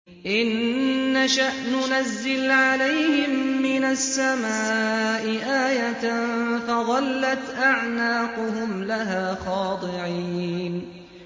إِن نَّشَأْ نُنَزِّلْ عَلَيْهِم مِّنَ السَّمَاءِ آيَةً فَظَلَّتْ أَعْنَاقُهُمْ لَهَا خَاضِعِينَ